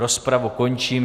Rozpravu končím.